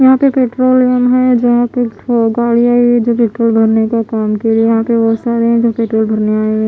यहाँ पे पेट्रोलियम जहाँ पे गाड़ी ठो गाडियाँ ये जो पेट्रोल भरने का काम किए यहाँ पे बहुत सारे है जो पेट्रोल भरने आए ।